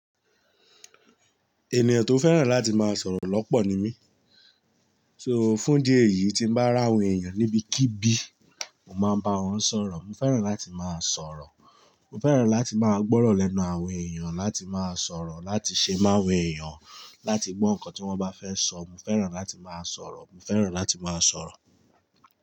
Ènìyàn tó fẹ́ràn láti máa sọ̀rọ̀ lọ́pọ̀ ni mí. So fún idi eyì tí mo bá ràwọn èèyàn níbí kíbí, mo máa ń bá wọn sọ̀rọ̀. Mo fẹ́ràn láti máa sọ̀rọ̀. Mo fẹ́ràn láti máa gbọ́rọ̀ lẹ́nu àwọn èèyàn, láti máa sọ̀rọ̀, láti ṣe máwọn èèyàn, láti gbọ́ nǹkan tí wọ́n bá fẹ́ sọ. Mo fẹ́ràn láti máa sọ̀rọ̀. Mo fẹ́ràn láti máa sọ̀rọ̀.